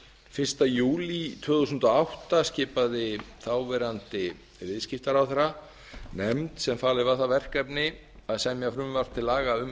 fyrsta júlí tvö þúsund og átta skipaði þáverandi viðskiptaráðherra nefnd sem falið var það verkefni að semja frumvarp til laga um